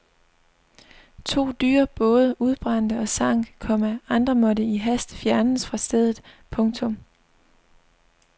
To dyre både udbrændte og sank, komma andre måtte i hast fjernes fra stedet. punktum